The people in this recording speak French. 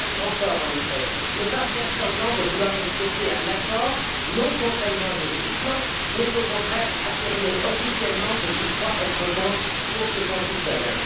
Trump a un grand tort en effet, celui ne pas faire semblant de vouloir respecter un accord, non contraignant juridiquement, mais au contraire d'affirmer officiellement ce qu'il croit être bon pour ses concitoyens.